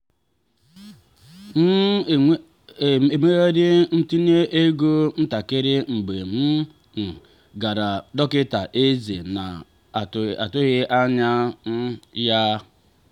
m ga-emegharị ntinye ego ntakịrị mgbe m um gara dọkịta ezé na-atụghị anya um ya.